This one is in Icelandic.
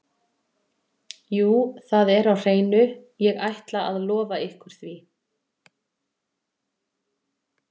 Jú það er á hreinu, ég ætla að lofa ykkur því.